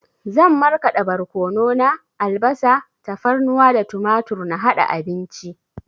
Zan marƙada borkono na, albasa, tafarnuwa da tumatur na haɗa abinci